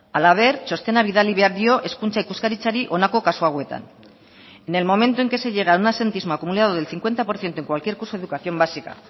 halaber txostena bidali behar dio hezkuntza ikuskaritzari honako kasu hauetan en el momento en que se llega a un absentismo acumulado del cincuenta por ciento en cualquier curso de educación básica